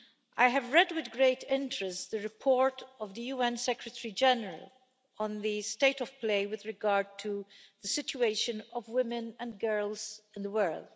I have read with great interest the report of the UN Secretary General on the state of play with regard to the situation of women and girls in the world.